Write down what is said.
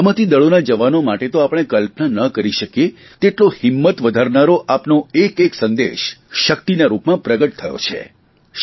સલામતિ દળોના જવાનો માટે તો આપણે કલ્પના ન કરી શકીએ તેટલો હિંમત વધારનારો આપનો એક એક સંદેશ શકિતના રૂપમાં પ્રગટ થયો છે